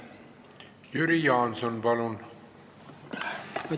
Jüri Jaanson, palun!